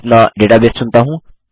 अपना डेटाबेस चुनता हूँ